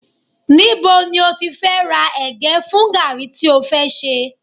Níbo ni o ti fẹ́ ra ẹ̀gẹ́ fún gààrí tí ó fẹ́ ṣe